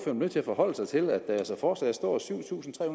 er nødt til at forholde sig til at der altså fortsat står syv tusind tre